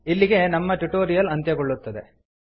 ಇಲ್ಲಿಗೆ ನಮ್ಮ ಟ್ಯುಟೋರಿಯಲ್ ಅಂತ್ಯಗೊಳ್ಳುತ್ತದೆ